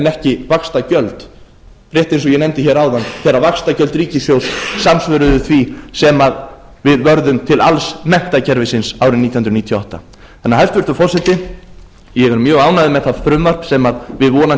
ekki vaxtagjöld rétt eins og ég nefndi hér áðan þegar vaxtagjöld ríkissjóðs samsvöruðu því sem við vörðum til alls menntakerfisins árið nítján hundruð níutíu og átta hæstvirtur forseti ég er mjög ánægður með það frumvarp sem við vonandi